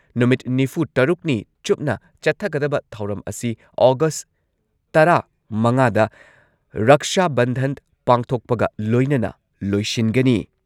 ꯅꯨꯃꯤꯠ ꯅꯤꯐꯨꯇꯔꯨꯛꯅꯤ ꯆꯨꯞꯅ ꯆꯠꯊꯒꯗꯕ ꯊꯧꯔꯝ ꯑꯁꯤ ꯑꯣꯒꯁꯠ ꯇꯔꯥꯃꯉꯥꯗ ꯔꯛꯁꯥ ꯕꯟꯙꯟ ꯄꯥꯡꯊꯣꯛꯄꯒ ꯂꯣꯏꯅꯅ ꯂꯣꯏꯁꯤꯟꯒꯅꯤ꯫